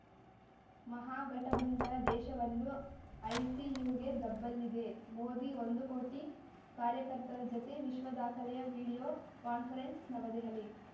ಮಹಾಗಠಬಂಧನ ದೇಶವನ್ನು ಐಸಿಯುಗೆ ದಬ್ಬಲಿದೆ ಮೋದಿ ಒಂದು ಕೋಟಿ ಕಾರ‍್ಯಕರ್ತರ ಜತೆ ವಿಶ್ವದಾಖಲೆಯ ವಿಡಿಯೋ ಕಾನ್ಫರೆನ್ಸ್‌ ನವದೆಹಲಿ